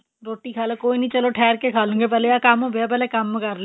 ਰੋਟੀ ਖਾਲੋ ਕੋਈ ਨੀ ਚਲੋ ਠਿਹਰ ਕੇ ਖਾਲੂਂਗੇ ਪਹਿਲੇ ਆ ਕੰਮ ਪਿਆ ਪਹਿਲਾ ਕੰਮ ਕਰ ਲਈਏ